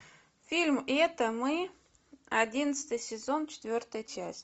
фильм это мы одиннадцатый сезон четвертая часть